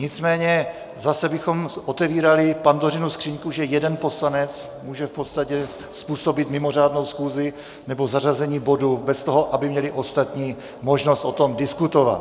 Nicméně zase bychom otevírali Pandořinu skříňku, že jeden poslanec může v podstatě způsobit mimořádnou schůzi nebo zařazení bodu bez toho, aby měli ostatní možnost o tom diskutovat.